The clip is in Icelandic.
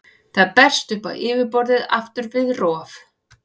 Það berst upp á yfirborðið aftur við rof.